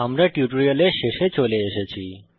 আমরা এই টিউটোরিয়ালের শেষে চলে এসেছি